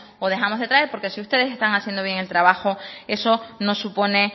o dejamos de traer porque si ustedes están haciendo bien el trabajo eso no supone